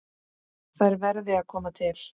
Þær verði að koma til.